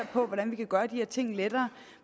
på hvordan man kan gøre de her ting lettere